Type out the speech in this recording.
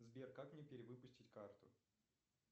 сбер как мне перевыпустить карту